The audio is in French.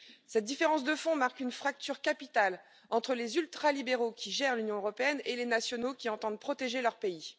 Cette différence de fond marque une fracture capitale entre les ultralibéraux qui gèrent l'Union européenne et les nationaux qui entendent protéger leur pays.